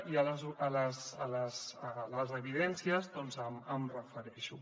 i a les evidències doncs em refereixo